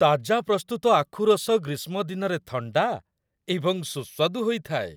ତାଜା ପ୍ରସ୍ତୁତ ଆଖୁ ରସ ଗ୍ରୀଷ୍ମ ଦିନରେ ଥଣ୍ଡା ଏବଂ ସୁସ୍ୱାଦୁ ହୋଇଥାଏ।